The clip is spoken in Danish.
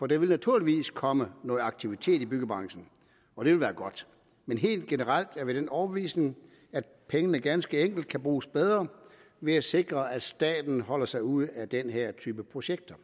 der vil naturligvis komme noget aktivitet i byggebranchen og det vil være godt men helt generelt er vi af den overbevisning at pengene ganske enkelt kan bruges bedre ved at sikre at staten holder sig ude af den her type projekter